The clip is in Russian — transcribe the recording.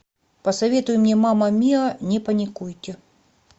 посоветуй мне мама миа не паникуйте